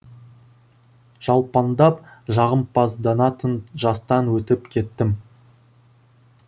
жалпаңдап жағымпазданатын жастан өтіп кеттім